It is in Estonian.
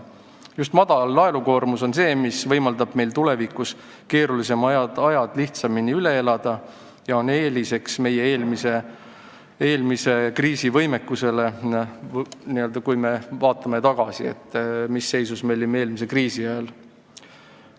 Just väike laenukoormus võimaldab meil tulevikus keerulisemad ajad lihtsamini üle elada kui eelmist kriisi – me ju mäletame hästi, mis seisus me olime eelmise kriisi ajal.